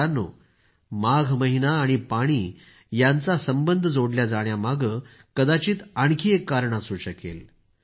मित्रांनो माघ महिना आणि पाणी यांचा संबंध जोडला जाण्यामागं कदाचित आणखी एक कारण असू शकेल